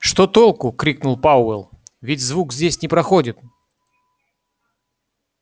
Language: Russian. что толку крикнул пауэлл ведь звук здесь не проходит